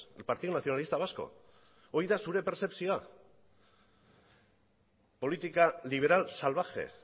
el partido nacionalista vasco hori da zure perzepzioa política liberal salvaje